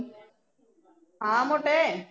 ਹਾਂ ਮੋਟੇ